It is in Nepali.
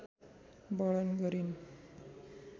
वर्णन गरिन्।